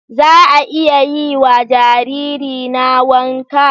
Za a iya yi wa jaririna wanka?